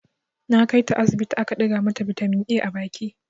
Na kai ta asibiti aka ɗiga mata bitamin A a baki.